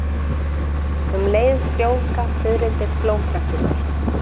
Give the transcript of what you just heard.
um leið frjóvga fiðrildin blómplönturnar